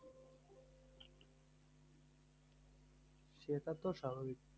সেটাতো স্বাভাবিক